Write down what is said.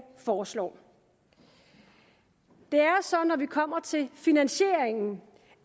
foreslår det er så når vi kommer til finansieringen